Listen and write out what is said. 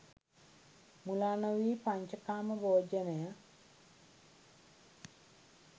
මුලා නොවී පඤ්චකාම භෝජනය